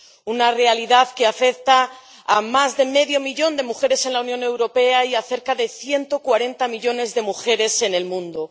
una realidad que afecta a más de medio millón de mujeres en la Unión Europea y a cerca de 140 millones de mujeres en el mundo.